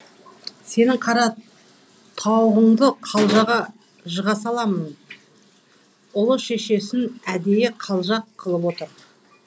сенің қара тауығыңды қалжаға жыға саламын ұлы шешесін әдейі қалжақ қылып отыр